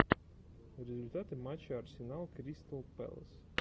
результаты матча арсенал кристал пэлас